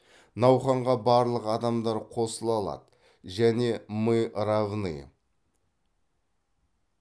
науқанға барлық адамдар қосыла алады және мы равны